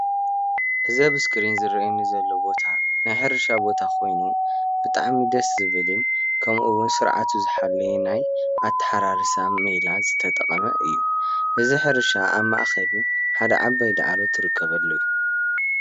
እዚ ኣብ እስክሪን ዝረኣየኒ ዘሎ ቦታ ናይ ሕርሻ ቦታ ኮይኑ ብጣዕሚ ደስ ዝብልን ከምእውን ስርዓቱ ዝሓለወ ናይ ኣተሓራርሳ ሜላ ዝተጠቀመ እዩ። እዚ ሕርሻ ኣብ ማእከሉ ሓደ ዓባይ ዳዕሮ ትርከበሉ እዩ።